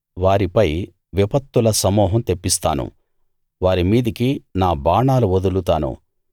వారిపై విపత్తుల సమూహం తెప్పిస్తాను వారి మీదికి నా బాణాలు వదులుతాను